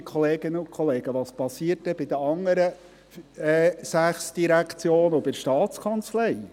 Ja, liebe Kolleginnen und Kollegen, was geschieht denn bei den anderen sechs Direktionen und bei der Staatskanzlei?